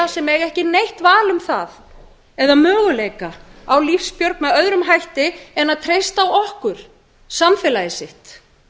sem eiga ekki neitt val um eða möguleika á lífsbjörg með öðrum hætti en að treysta á okkur samfélagið sitt